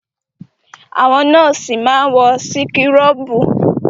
Àwọn nọ́ọ̀sì máa ń wọ síkúrọ̀bù.